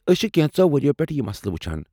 أسۍ چھِ کینٛژو وریو پیٹھہٕ یہِ مسلہٕ وُچھان ۔